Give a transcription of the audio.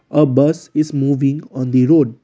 a bus is moving on the road.